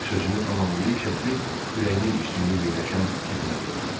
sözünü tamamlayıb şəkli ürəyinin üstündə yerləşən cibinə qoydu.